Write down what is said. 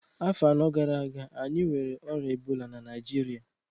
Afọ anọ gara aga, anyị nwere ọrịa ebola na Naịjirịa